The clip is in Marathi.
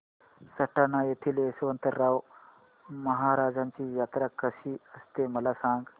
सटाणा येथील यशवंतराव महाराजांची यात्रा कशी असते मला सांग